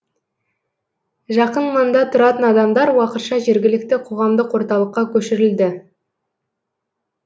жақын маңда тұратын адамдар уақытша жергілікті қоғамдық орталыққа көшірілді